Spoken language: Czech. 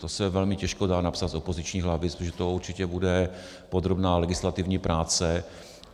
To se velmi těžko dá napsat z opozičních lavic, protože to určitě bude podrobná legislativní práce.